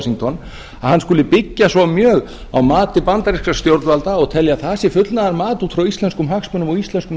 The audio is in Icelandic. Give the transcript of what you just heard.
washington að hann skuli byggja svo mjög á mati bandarískra stjórnvalda og telja að það sé fullnaðarmat út frá íslenskum hagsmunum og íslenskum